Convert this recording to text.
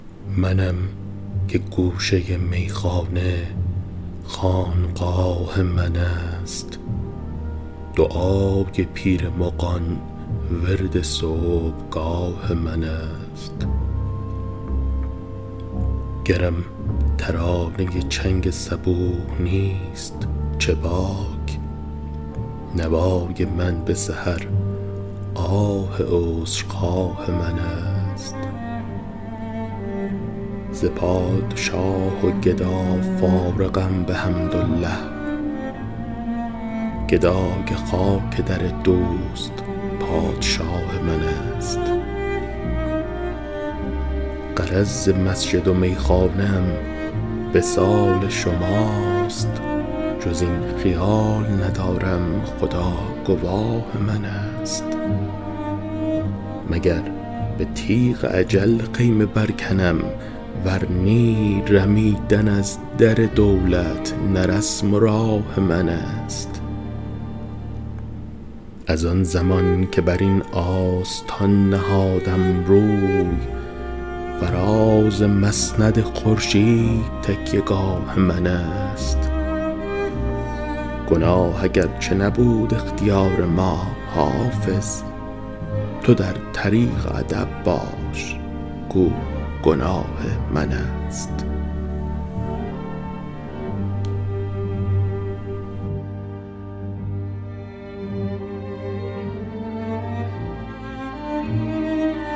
منم که گوشه میخانه خانقاه من است دعای پیر مغان ورد صبحگاه من است گرم ترانه چنگ صبوح نیست چه باک نوای من به سحر آه عذرخواه من است ز پادشاه و گدا فارغم بحمدالله گدای خاک در دوست پادشاه من است غرض ز مسجد و میخانه ام وصال شماست جز این خیال ندارم خدا گواه من است مگر به تیغ اجل خیمه برکنم ور نی رمیدن از در دولت نه رسم و راه من است از آن زمان که بر این آستان نهادم روی فراز مسند خورشید تکیه گاه من است گناه اگرچه نبود اختیار ما حافظ تو در طریق ادب باش گو گناه من است